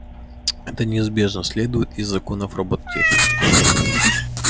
это неизбежно следует из законов робототехники